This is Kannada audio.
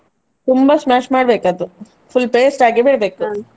ತುಂಬಾ smash ಮಾಡ್ಬೇಕು ಅದು full paste ಆಗಿ .